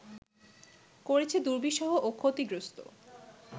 করেছে দুর্বিষহ ও ক্ষতিগ্রস্ত